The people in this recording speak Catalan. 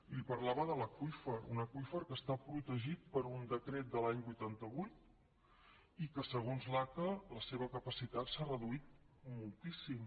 li parlava de l’aqüífer un aqüífer que està protegit per un decret de l’any vuitanta vuit i que segons l’aca la seva capacitat s’ha reduït moltíssim